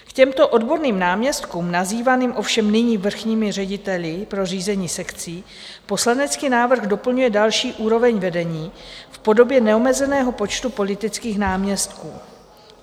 K těmto odborným náměstkům, nazývaným ovšem nyní vrchními řediteli pro řízení sekcí, poslanecký návrh doplňuje další úroveň vedení v podobě neomezeného počtu politických náměstků.